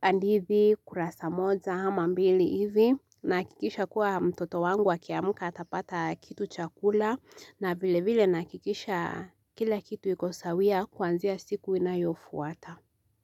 hadithi, kurasa moja, ama mbili hivi, nahakikisha kuwa mtoto wangu akiamka atapata kitu cha kula, na vilevile nahakikisha kila kitu iko sawia kuanzia siku inayofuata.